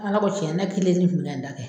Ala ko tiɲɛ kelennin kun bɛna n ta kɛ.